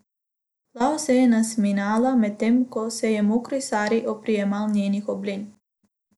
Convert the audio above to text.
Plaho se je nasmihala, medtem ko se je mokri sari oprijemal njenih oblin.